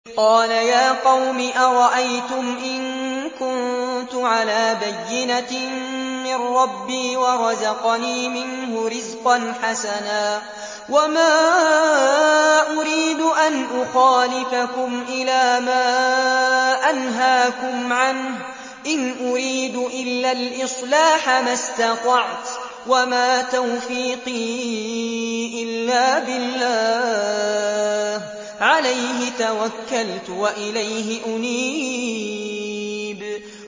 قَالَ يَا قَوْمِ أَرَأَيْتُمْ إِن كُنتُ عَلَىٰ بَيِّنَةٍ مِّن رَّبِّي وَرَزَقَنِي مِنْهُ رِزْقًا حَسَنًا ۚ وَمَا أُرِيدُ أَنْ أُخَالِفَكُمْ إِلَىٰ مَا أَنْهَاكُمْ عَنْهُ ۚ إِنْ أُرِيدُ إِلَّا الْإِصْلَاحَ مَا اسْتَطَعْتُ ۚ وَمَا تَوْفِيقِي إِلَّا بِاللَّهِ ۚ عَلَيْهِ تَوَكَّلْتُ وَإِلَيْهِ أُنِيبُ